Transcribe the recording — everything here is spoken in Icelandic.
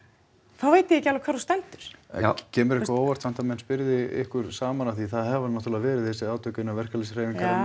þá veit ég ekki alveg hvar þú stendur já kemur það á óvart að menn spili ykkur saman af því það hafa náttúrulega verið þessi átök innan verkalýðshreyfinganna